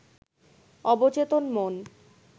অবচেতন মন